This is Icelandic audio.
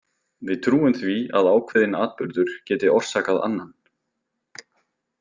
Við trúum því að ákveðinn atburður geti orsakað annan.